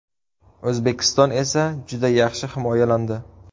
O‘zbekiston esa juda yaxshi himoyalandi.